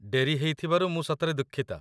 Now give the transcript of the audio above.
ଡେରି ହେଇଥିବାରୁ ମୁଁ ସତରେ ଦୁଃଖିତ ।